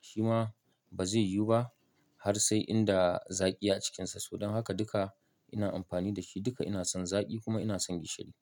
shi ma bazai yiwu ba har sai inda zaƙi a cikinsa. Toh don haka duka ina amfani da shi duka ina son zaƙi kuma ina son gishiri.